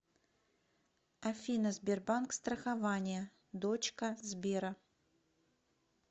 афина сбербанк страхование дочка сбера